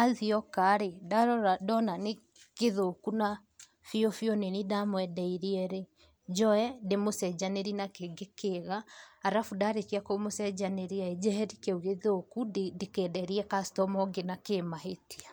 athiĩokarĩ ndarora ndona nĩkĩthũũkũ na biũ biũ nĩ niĩ ndamwendeirierĩ, njoe ndĩmucenjanĩrie na kĩngĩ kĩega arabu ndarĩkia kũmũcenjanĩriaĩ, njeheri kĩu gĩthũũku ndikenderie customer ũngĩ nakĩmahĩtia.